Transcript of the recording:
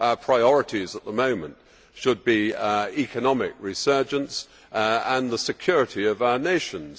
Our priorities at the moment should be economic resurgence and the security of our nations.